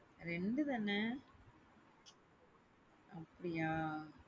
ரெண்டு தானே அப்படியா?